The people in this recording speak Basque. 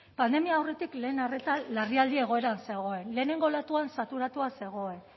pandemia aurretik lehen arreta larrialdi egoeran zegoen lehenengo olatuan saturatuta zegoen